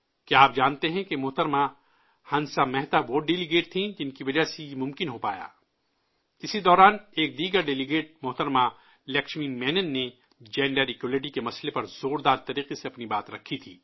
کیا آپ جانتے ہیں کہ محترمہ ہنسا مہتہ وہ وفد تھی جن کی وجہ سے یہ ممکن ہو پایا، اسی دوران، ایک دیگر وفد محترمہ لکشمی مینن نے جنسی برابری کے ایشو پر زوردار طریقے سے اپنی بات رکھی تھی